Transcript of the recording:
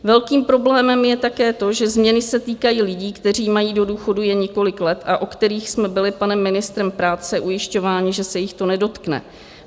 Velkým problémem je také to, že změny se týkají lidí, kteří mají do důchodu jen několik let a o kterých jsme byli panem ministrem práce ujišťováni, že se jich to nedotkne.